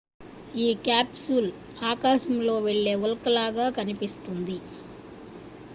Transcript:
ఆ క్యాప్సూల్ ఆకాశంలో వెళ్ళే ఉల్క లాగా కనిపిస్తుంది